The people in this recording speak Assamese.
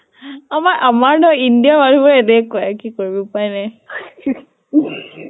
আমাৰ আমাৰ নহয় india ৰ মানুহ বোৰ এনেকুৱাই, কি কৰিবি উপাই নাই